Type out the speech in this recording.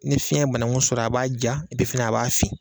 Ni fiɲɛ banan ku sɔrɔ, a b'a ja, fana a b'a fin.